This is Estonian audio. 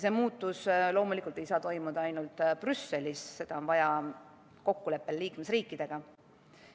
Loomulikult ei saa see muutus toimuda ainult Brüsselis, seda on vaja teha kokkuleppel liikmesriikidega.